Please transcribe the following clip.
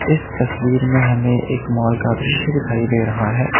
इस तस्वीर में हमें एक मॉल का दृश्य दिखाई दे रहा है।